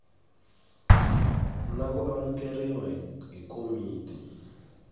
na ku amukeriwa hi komiti